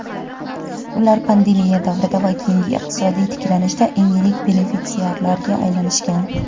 ular pandemiya davrida va keyingi iqtisodiy tiklanishda eng yirik benefitsiarlarga aylanishgan.